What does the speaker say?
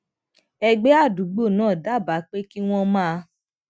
ẹgbẹ adugbo náà dábàá pé kí wọn máa